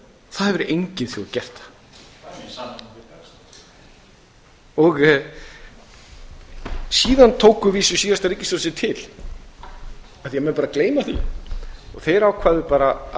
ekki hægt það hefur engin þjóð gert síðan tók að vísu síðasta ríkisstjórn sig til af því að menn bara gleyma því og þeir ákváðu bara að